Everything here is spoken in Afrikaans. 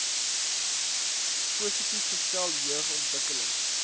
positief gestel jeugontwikkeling